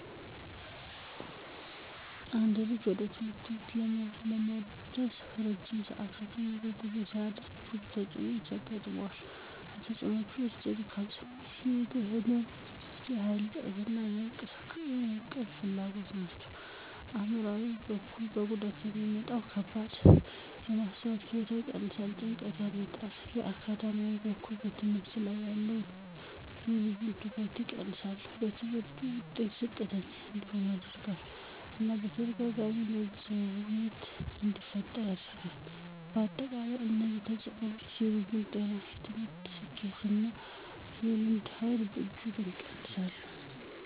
አንድ ልጅ ወደ ትምህርት ቤት ለመድረስ ረጅም ዕለታዊ የእግር ጉዞ ሲያደርግ ብዙ ተጽዕኖዎች ያጋጥሙታል። ከተፅእኖወቹ ውስጥ የድካም ስሜት፣ የእግር ህመም፣ የኃይል እጥረት እና የእንቅልፍ ፍላጎት ናቸው። ከአእምሯዊ በኩል ከጉዞ የሚመጣ ድካም የማስተዋል ችሎታን ይቀንሳል፣ ጭንቀትን ያመጣል። በአካዳሚያዊ በኩል በትምህርት ላይ ያለውን የልጁን ትኩረት ይቀንሳል፣ በትምህርቱ ውጤት ዝቅተኛ እንዲሆን ያደርገዋል እና በተደጋጋሚ መዘግየት እንዲፈጠርበት ያደርጋል። በአጠቃላይ እነዚህ ተጽዕኖዎች የልጁን ጤና፣ የትምህርት ስኬት እና የእርምጃ ኃይል በእጅጉ ይቀንሳሉ።